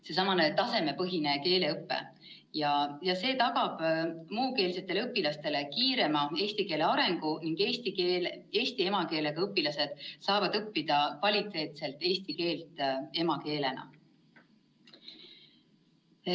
Seesama tasemepõhine keeleõpe tagab muukeelsetele õpilastele kiirema eesti keele arengu ning eesti emakeelega õpilased saavad õppida kvaliteetselt eesti keelt emakeelena.